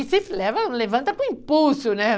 leva, levanta com impulso, né?